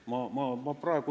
Suur tänu!